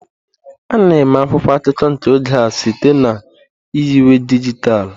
A na-eme akwụkwọ akụkọ nke oge a site na nyiwe dijitalụ.